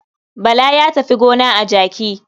Bala ya tafi gona a jaki.